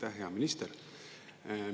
Aitäh, hea minister!